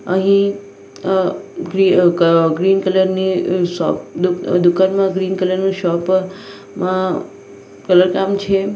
અહીં green colour ની દુકાનમાં ગ્રીન કલર નું શોપ માં કલર કામ છે.